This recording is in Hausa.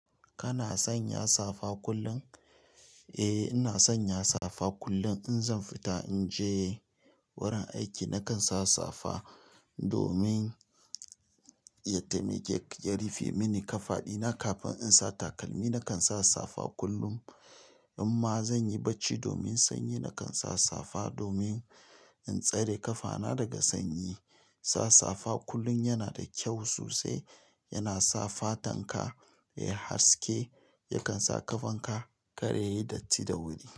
Kana sanya safa kullum? Eh, ina sanya safa kullum. In zan fita in je wurin aiki nakan sa safa domin ya taimake ya rufe mini ƙafaɗina. Kafin in sa takalmi nakan sa safa kullum, amma zanyi bacci domin sanyi nakan sa safa domin in tsare ƙafana daga sanyi. Sa safa kullum yana da kyau sosai, yana sa fatan ka ya yi haske, yakan sa ƙafan ka kar ya yi datti da wuri.